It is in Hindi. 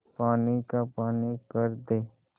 पानी का पानी कर दे